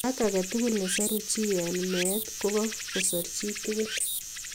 Ak agetugul ne soruu chii eng mee ko kakosuru chi tugul.